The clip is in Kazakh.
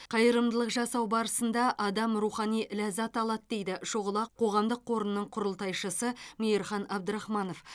қайырымдылық жасау барысында адам рухани ләззат алады дейді шұғыла қоғамдық қорының құрылтайшысы мейірхан абдрахманов